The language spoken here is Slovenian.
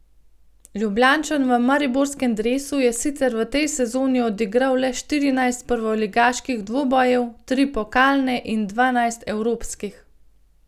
Ljubljančan v mariborskem dresu je sicer v tej sezoni odigral le štirinajst prvoligaških dvobojev, tri pokalne in dvanajst evropskih.